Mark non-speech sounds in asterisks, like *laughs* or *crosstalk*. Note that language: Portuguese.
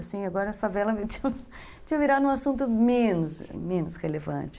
Agora a favela tinha *laughs* virado um assunto menos relevante.